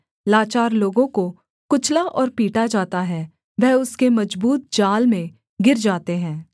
लाचार लोगों को कुचला और पीटा जाता है वह उसके मजबूत जाल में गिर जाते हैं